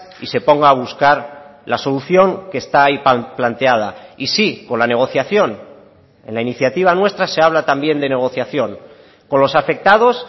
y se ponga a buscar la solución que esta hay planteada y sí con la negociación en la iniciativa nuestra se habla también de negociación con los afectados